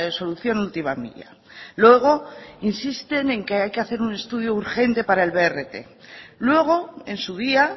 solución última milla luego insisten en que hay que hacer un estudio urgente para el brt luego en su día